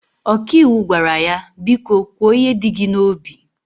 ọkàiwu gwara ya, biko kwo ihe di gi na obi